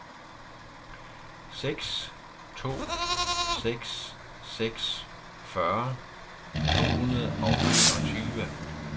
seks to seks seks fyrre to hundrede og enogtyve